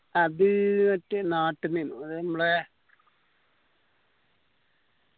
അത് മറ്റേ നാട്ടിലെനു അതായത് മ്മളെ